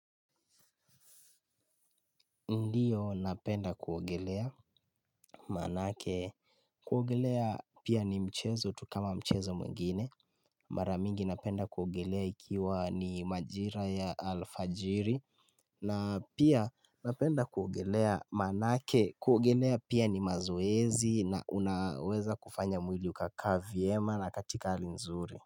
Ndiyo napenda kuogelea. Manake kuogelea pia ni mchezo tu kama mchezo mwengine. Mara mingi napenda kuogelea ikiwa ni majira ya alfajiri. Na pia napenda kuogelea manake kuogelea pia ni mazoezi na unaweza kufanya mwili ukakaa vyema na katika hali nzuri.